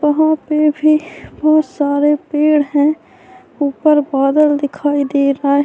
وہاں پی بھی بھوت سارے پیڈ ہے۔ اپر بادل دکھائی دے رہا ہے۔